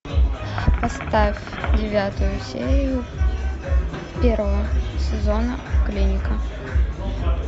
поставь девятую серию первого сезона клиника